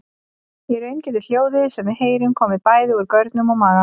Í raun getur hljóðið sem við heyrum komið bæði úr görnum og maga.